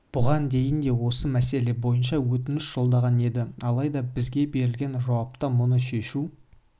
бұған дейін де осы мәселе бойынша өтініш жолдаған еді алайда бізге берілген жауапта мұны шешу